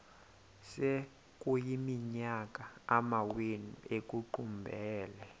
sekuyiminyaka amawenu ekuqumbele